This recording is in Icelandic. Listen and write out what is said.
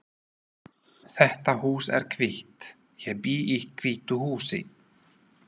Þetta hús er hvítt. Ég bý í hvítu húsi.